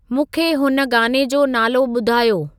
मूंखे हुन गाने जो नालो ॿुधायो